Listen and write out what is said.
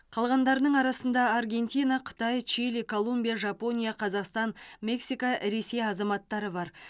қалғандарының арасында аргентина қытай чили колумбия жапония қазақстан мексика ресей азаматтары бар